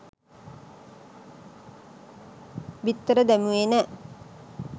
බිත්තර දැමුවේ නෑ